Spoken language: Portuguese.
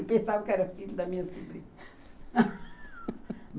Eu pensava que era filho da minha sobrinha.